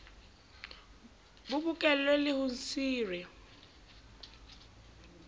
bo bokellwe le ho sire